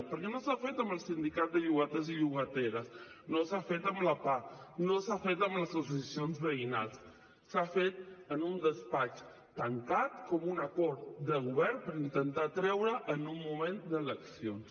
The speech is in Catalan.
perquè no s’ha fet amb el sindicat de llogaters i llogateres no s’ha fet amb la pah no s’ha fet amb les associacions veïnals s’ha fet en un despatx tancat com un acord de govern per intentar treure en un moment d’eleccions